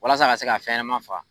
Walasa a ka se ka fɛnma faa.